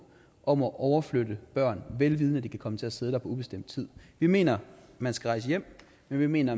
om at overflytte børn vel vidende at de kan komme til at sidde der på ubestemt tid vi mener at man skal rejse hjem men vi mener